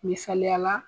Misaliya la